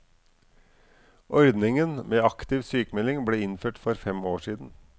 Ordningen med aktiv sykmelding ble innført for fem år siden.